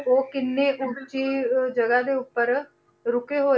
ਉਹ ਕਿੰਨੇ ਉੱਚੀ ਜਗ੍ਹਾ ਦੇ ਉੱਪਰ ਰੁੱਕੇ ਹੋਏ,